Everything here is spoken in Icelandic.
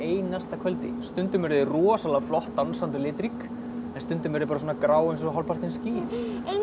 kvöldi stundum eru þau rosalega flott dansandi og litrík en stundum eru þau bara grá eins og hálfpartinn ský einu